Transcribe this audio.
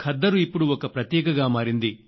ఖద్దరు ఇప్పుడు ఒక ప్రతీకగా మారింది